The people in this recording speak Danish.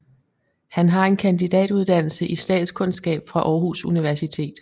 Han har en kandidatuddannelse i statskundskab fra Aarhus Universitet